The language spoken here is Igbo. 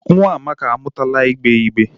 Nwa Amaka amutala igbe igbe.